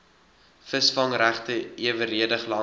visvangregte eweredig langs